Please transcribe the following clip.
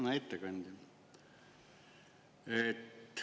Hea ettekandja!